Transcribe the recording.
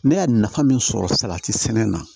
Ne y'a nafa min sɔrɔ salati sɛnɛ na